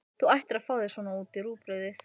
Þú ættir að fá þér svona í rúgbrauðið!